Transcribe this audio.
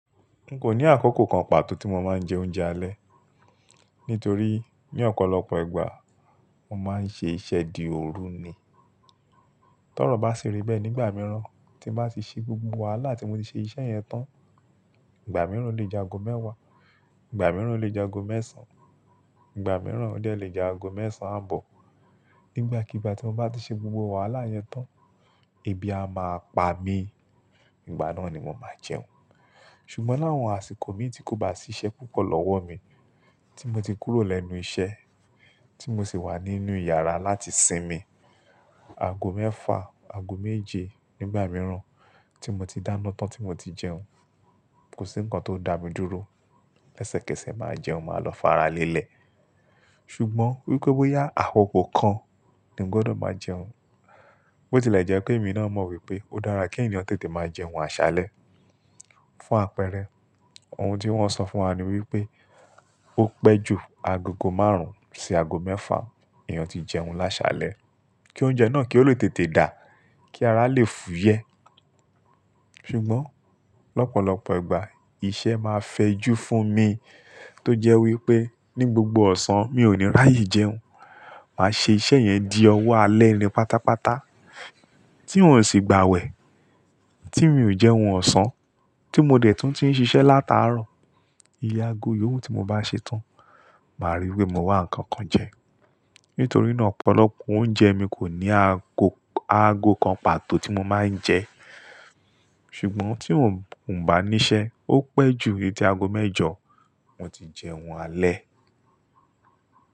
N kò ní àkókò kan pàtó tí mo máa ń jẹ oúnjẹ alẹ́ nítorí ní ọ̀pọ̀lọpọ̀ ìgbà mo máa ń ṣe iṣẹ́ di òru ni. Tọ́rọ̀ bá sì rí bẹ́ẹ̀ nígbà mìíràn tí bá sì ṣe gbogbo wàhálà tí mo ti ṣe iṣẹ́ yẹn tán. Ìgbà mìíràn lè jago mẹ́wàá, ìgbà mìíràn lè jago mẹ́sàn, ìgbà mìíràn ọ̀ dẹ́ lè jago mẹ́sàn-án bọ̀. Nígbàkigbà tí mo bá ti ṣe gbogbo wàhálà yẹn tán, ebi á máa pa mí, ìgbà náà ni mo máa jẹun. Ṣùgbọ́n láwọn àsìkò mi tí kò bá ṣiṣẹ́ púpọ̀ lọ́wọ́ mi, tí mo ti kúrò lẹ́nu iṣẹ́, tí mo sì wà nínú ìyàrá láti sinmi, aago mẹ́fà, aago méje nígbà mìíràn tí mo ti dáná tán tí mo ti jẹun, kò sí ǹkan tó ń dá mi dúró. Lẹ́sẹ̀kẹsẹ̀ máa jẹun, màá lọ faralẹ́lẹ̀. Ṣùgbọ́n wípé bóyá àkókò kan ni ń gbọdọ̀ máa jẹun, bó ti lè jẹ́ pé èmi náà mọ̀ wípé ó dára kí ènìyàn tètè máa jẹun àṣálẹ́. Fún àpẹẹrẹ ohun tí wọ́n sọ fún wa ni wípé ó pẹ́ ju agogo márùn-ún sí aago mẹ́fà èèyàn tí jẹun lásálẹ́ kí oúnjẹ náà kí ó lè tètè dà, kí ara lè fúyẹ́. Ṣùgbọ́n lọ́pọ̀lọpọ̀ ìgbà iṣẹ́ máa fẹjú fún mi tó jẹ́ wípé ní gbogbo ọ̀sán mi ò ní ráyè jẹun. Màá ṣe iṣẹ́ yẹn di ọwọ́ alẹ́ ni pátápátá tí n ò sì gba wẹ̀, tí mi ò jẹun ọ̀sán, tí mo dẹ̀ tún ti ń ṣiṣẹ́ lataarọ̀. Iye aago yòówù tí mo bá ṣetán, màá ríi wípé mo wà nkankan jẹ. Nítorí náà ọ̀pọ̀lọpọ̀ oúnjẹ mi kò ní aago, aago kan pàtó tí mo máa ń jẹ. Ṣùgbọ́n tí n ò bá níṣẹ́, ó pẹ́ ju titi aago mẹ́jọ mo ti jẹun alẹ́.